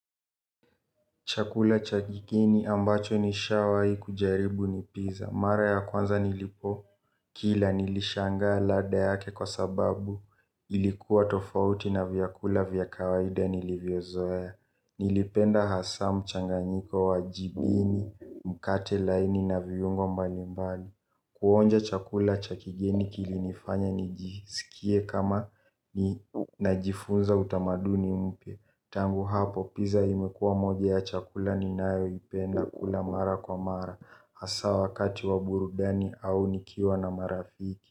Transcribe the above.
Chakula cha kigeni ambacho nishawahii kujaribu ni pizza. Mara ya kwanza nilipokila nilishangaa ladha yake kwa sababu ilikuwa tofauti na vyakula vya kawaida nilivyozoea. Nilipenda hasa mchanganyiko wa jibini, mkate laini na viungo mbalimbali. Kuonja chakula cha kigeni kilinifanya nijisikie kama najifunza utamaduni mpya. Tangu hapo pizza imekuwa moja ya chakula ninayoipenda mara kwa mara hasa wakati wa burudani au nikiwa na marafiki.